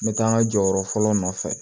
N bɛ taa n ka jɔyɔrɔ fɔlɔ nɔfɛ